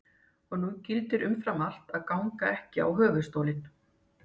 Og nú gildir umfram allt að ganga ekki á höfuðstólinn.